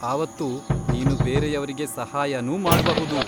ಆವತ್ತು ನೀನು ಬೇರೆಯವ್ರಿಗೆ ಸಹಾಯನೂ ಮಾಡ್ಬಹುದು.